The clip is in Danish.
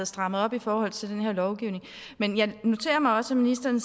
strammet op i forhold til den her lovgivning men jeg noterer mig også at ministeren